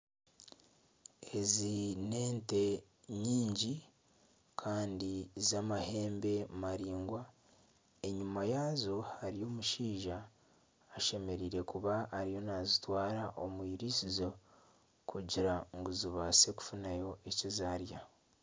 Ezi n'ente nyingi kandi z'amahembe maraingwa enyuma yaazo hariyo omushaija ashemereire kuba ariyo nazitwara omwiriisizo kugira ngu zibaase kufunayo ekizarya.